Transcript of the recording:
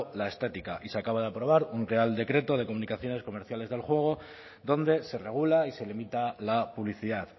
la estética y se acaba de aprobar un real decreto de comunicaciones comerciales del juego donde se regula y se limita la publicidad